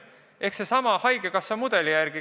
See toimuks sellesama haigekassa mudeli järgi.